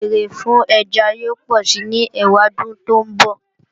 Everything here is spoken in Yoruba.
Ìbéèrè fún ẹja yóò pọ̀si ní ẹwàdún tó ńbọ̀